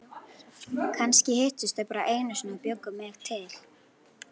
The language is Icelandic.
Kannski hittust þau bara einu sinni og bjuggu mig til.